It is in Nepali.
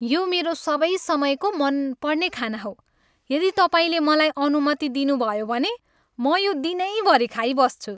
यो मेरो सबै समयको मनपर्ने खाना हो, यदि तपाईँले मलाई अनुमति दिनुभयो भने, म यो दिनैभरि खाइबस्छु।